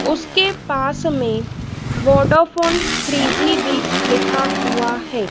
उसके पास में वोडाफ़ोन थ्री जी भी लिखा हुआ है।